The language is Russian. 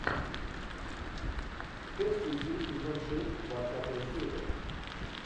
пять ключей сезон шесть двадцатая серия